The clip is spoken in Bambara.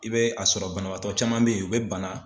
I bɛ a sɔrɔ banabaatɔ caman bɛ ye u bɛ bana.